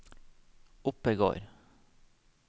Oppegård